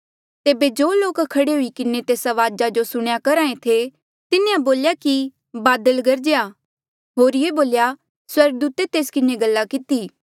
तेबे जो लोक खड़े हुई किन्हें तेस अवाज जो सुणेया करहा ऐें थे तिन्हें बोल्या कि बादल गरजया होरिये बोल्या स्वर्गदूते तेस किन्हें गल किती